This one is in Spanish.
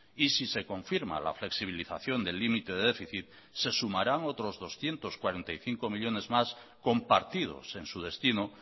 y si se confirma la flexibilización del límite de déficit se sumarán otros doscientos cuarenta y cinco millónes más compartidos en su destino